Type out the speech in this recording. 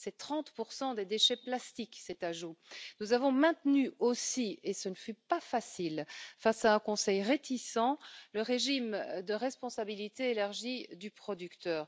Cet ajout représente 30 des déchets plastiques. Nous avons maintenu aussi, et ce ne fut pas facile face à un Conseil réticent, le régime de responsabilité élargie du producteur.